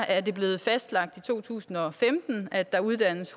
er blevet fastlagt i to tusind og femten at der uddannes